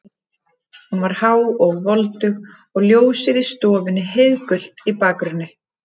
Hún var há og voldug og ljósið í stofunni heiðgult í bakgrunni.